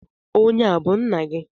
Onye a ọ bú nna gị?